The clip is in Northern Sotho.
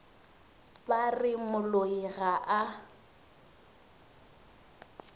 ba re moloi ga a